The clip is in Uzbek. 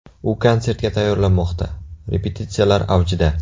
U konsertga tayyorlanmoqda, repetitsiyalar avjida.